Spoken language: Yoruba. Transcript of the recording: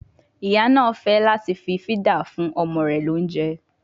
Ìyá náà fẹ́ láti fí fídà fún ọmọ rẹ ní oúnjẹ